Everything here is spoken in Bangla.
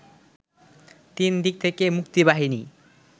তিনদিক থেকে মুক্তিবাহিনী